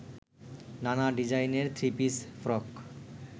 নানা ডিজাইনের three piece, frock